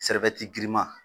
girinman